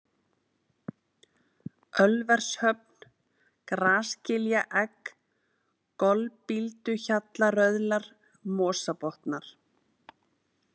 Ölvershöfn, Grasgiljaegg, Golbílduhjallaröðlar, Mosabotnar